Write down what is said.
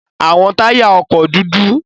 Awọn taya ọkọ dudu